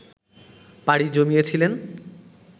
পাড়ি জমিয়েছিলেন